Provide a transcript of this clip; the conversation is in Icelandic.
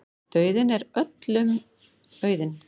Dauðinn er öllum auðinn.